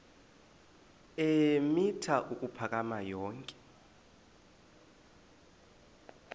eemitha ukuphakama yonke